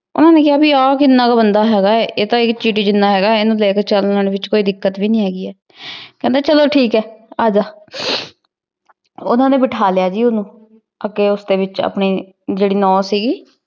ਓਹਨੇ ਕੇਹਾ ਭੀ ਆ ਕੀਨਾ ਕੁ ਬੰਦਾ ਹੇਗਾ ਆਯ ਆਯ ਚਿਰੀ ਜਿਨਾ ਹੇਗਾ ਆਯ ਏਨੁ ਲੇ ਕੇ ਚਾਲਾਂ ਵਿਚ ਕੋਈ ਦਿੱਕਤ ਨਹੀ ਹੇਗੀ ਕੇਹੰਡੀ ਚਲੋ ਠੀਕ ਆਯ ਅਜ ਓਹਨਾਂ ਨੇ ਬਿਠਾ ਲਾਯਾ ਜੀ ਵਿਚ ਓਹਨੁ ਓਸਦੀ ਵਿਚ ਆਪਣੀ ਜੇਰੀ ਨਾਓ ਸੀਗੀ